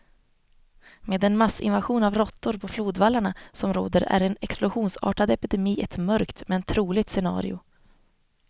Med den massinvasion av råttor på flodvallarna som råder är en explosionsartad epidemi ett mörkt, men troligt scenario.